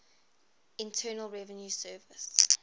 internal revenue service